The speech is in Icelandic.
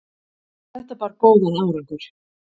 þetta bar góðan árangur